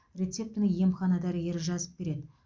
рецептіні емхана дәрігері жазып береді